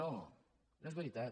no no és veritat